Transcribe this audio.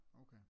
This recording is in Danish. Okay